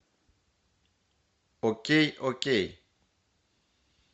окей окей